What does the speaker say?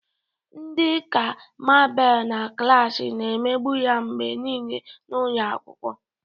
Ndị ka Mabel na klasi na-emegbu ya mgbe niile n'ụlọ akwụkwọ.